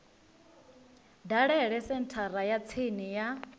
dalele senthara ya tsini ya